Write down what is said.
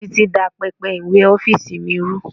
Títí dá pẹpẹ ìwé ọ́fíìsì mi rú.